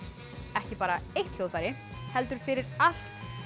ekki bara eitt hljóðfæri heldur fyrir allt